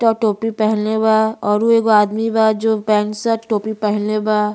ट टोपी पहिनले बा औरु एगो आदमी बा जो पैंट शर्ट टोपी पहिनले बा।